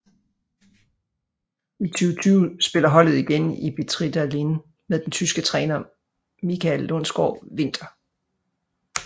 I 2020 spiller holdet igen i Betrideildin med den tyske træner Michael Lundsgaard Winter